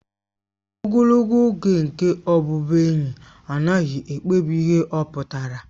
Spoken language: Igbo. Ogologo oge nke ọbụbụenyi anaghị ekpebi ihe ọ pụtara